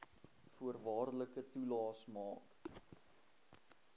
voorwaardelike toelaes maak